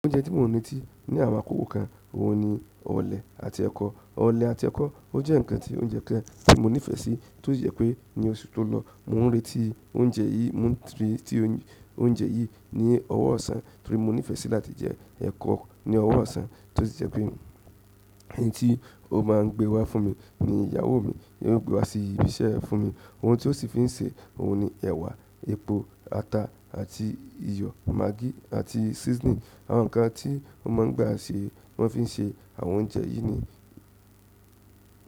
Oúnjẹ tí mò ń retí ní àwọn àkókò kan, òun ni ọ̀lẹ̀ àti ẹ̀kọ. Ọ̀lẹ̀ àti ẹ̀kọ, ó jẹ́ ǹkan tí oúnjẹ kan tí mo nífẹ̀ẹ́ sí, tó sì jẹ́ pé ní oṣù tó lọ, mò ń retí oúnjẹ yìí, mò ń retí oúnjẹ yìí ní ọ̀wọ̀ ọ̀sán torí mo nífẹ̀ẹ́ sí láti jẹ ẹ̀kọ ní ọ̀wọ̀ ọ̀sán, tó sì jẹ́ pé èyí tí ó máa ń gbé wá fún mi ni ìyàwó mi, ìyàwó gbé wá sí ibi iṣẹ́ fún mi. Oun ti o si fi n se oun ni ewa, epo, ata àti iyo, maagi àti seasoning. Àwọn nǹkan tí wọ́n máa ń gba ṣe, wọ́n fi ń ṣe àwọn oúnjẹ yìí ni.